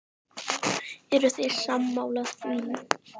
Eruð þið sammála því?